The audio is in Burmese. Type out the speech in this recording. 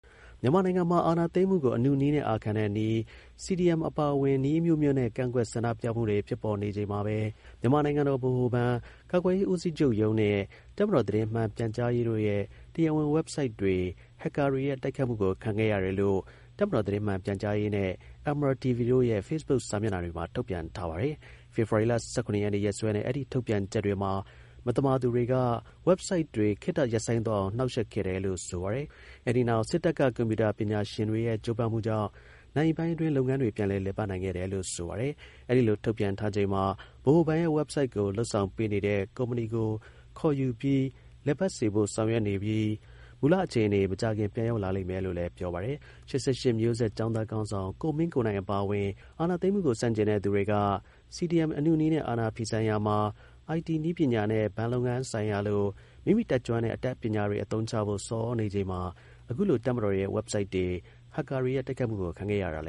မြန်မာနိုင်ငံမှာ အာဏာသိမ်းမှုကို အနုနည်းနဲ့ အာခံတဲ့နည်း CDM အပါအဝင် နည်းအမျိုးမျိုးနဲ့ ကန့်ကွက် ဆန္ဒပြမှုတွေ ဖြစ်ပေါ်နေချိန် မှာပဲ မြန်မာနိုင်ငံဗဟိုဘဏ်၊ ကာကွယ်ရေး ဦးစီးချုပ်ရုံးနဲ့ တပ်မတော် သတင်းမှန် ပြန်ကြားရေးတို့ရဲ့ တရားဝင် website တွေဟက်ကာ တွေရဲ့ တိုက်ခိုက်မှုကို ခံခဲ့ရတယ်လို့ တပ်မတော် သတင်းမှန် ပြန်ကြားရေးနဲ့ MRTV တို့ရဲ့ Facebook စာမျက်နှာတွေမှာ ထုတ်ပြန် ထားပါတယ်။ ဖေဖော်ဝါရီ ၁၇ ရက်နေ့ ရက်စွဲနဲ့ အဲဒီ ထုတ်ပြန်ချက်တွေမှာ မသမာသူတွေက website တွေ ခေတ္တရပ်ဆိုင်းသွားအောင် နှောင့်ယှက် ခဲ့တယ်လို့ဆိုပါတယ်။ အဲဒီနောက် စစ်တပ်က ကွန်ပြူတာ ပညာရှင်တွေရဲ့ ကြိုးပမ်းမှုကြောင့် နာရီပိုင်းအတွင်း လုပ်ငန်းတွေ ပြန်လည် လည်ပတ်နိုင်ခဲ့တယ်လို့ ဆိုပါတယ်။ အဲဒီလို ထုတ်ပြန်ထားချိန်မှာ ဗဟိုဘဏ်ရဲ့ website ကို လုပ်ဆောင်ပေးနေတဲ့ ကုမ္ပဏီကို ခေါ်ယူပြီး လည်ပတ်စေဖို့ ဆောင်ရွက်နေ ပြီး မူလ အခြေအနေ မကြာခင် ပြန်လည် ရောက်ရှိမယ်လို့လည်း ပြောပါတယ်။ ၈၈ မျိုးဆက်ကျောင်းသား ခေါင်းဆောင် ကိုမင်းကိုနိုင် အပါအဝင် အာဏာသိမ်းမှုကို ဆန့်ကျင်တဲ့ သူတွေက CDMအနုနည်းနဲ့အာဏာဖီ ဆန်ရာမှာ IT နည်းပညာနဲ့ ဘဏ်လုပ်ငန်းဆိုင်ရာလို မိမိတတ်ကျွမ်းတဲ့အတတ်ပညာတွေအသုံးချဖို့ ဆော်ဩနေချိန်မှာ အခုလိုတပ်မတော် ရဲ့ websites တွေ ဟက်ကာတွေရဲ့တိုက်ခိုက်မှုကို ခံခဲ့ရတာလ